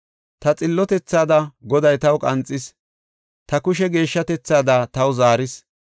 Ta xillotethaada Goday taw qanxis; ta kushe geeshshatethaada taw zaaris.